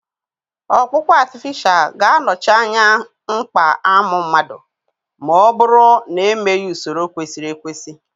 Ọkpụkpụ artificial ga-anọchi anya mkpa amụ mmadụ, ma ọ bụrụ na emeghị usoro kwesịrị ekwesị.